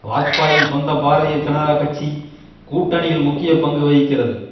வாஜ்பாயின் சொந்த பாரதீய ஜனதா கட்சி கூட்டணியில் முக்கிய பங்கு வகிக்கிறது